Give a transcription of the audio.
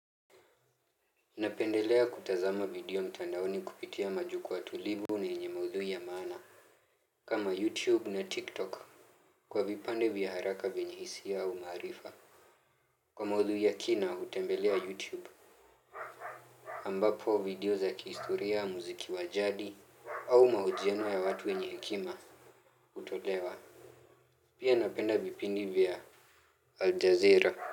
Napendelea kutazama video mtandaoni kupitia majukwaa tulivu na yenye maudhui ya maana. Kama YouTube na TikTok Kwa vipande vya haraka vyenye hisia au maarifa. Kwa maudhui ya kina hutembelea YouTube Ambapo video za kihistoria muziki wajadi au mahojiano ya watu wenye hekima Kutolewa. Pia napenda vipindi vya Al Jazeera.